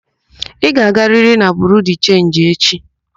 Ị ga-agarịrị na Biriu de Chenji echi!